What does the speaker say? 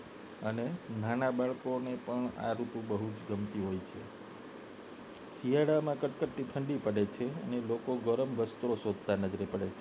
અને નાના બાળકોને પણ આ ઋતુ બહુ જ ગમતી હોય છે શિયાળામાં કડકડતી ઠંડી પડે છે લોકો ગરમ વસ્ત્રો શોધતા નજરે પડે છે